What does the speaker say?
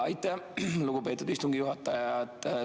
Aitäh, lugupeetud istungi juhataja!